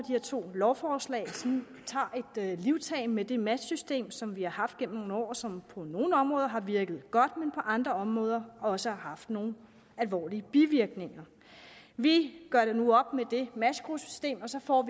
her to lovforslag tager et livtag med det matchsystem som vi har haft gennem nogle år og som på nogle områder har virket godt men på andre områder også har haft nogle alvorlige bivirkninger vi gør nu op med det matchgruppesystem og så får